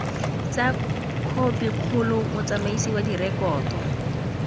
tsa khopikgolo motsamaisi wa direkoto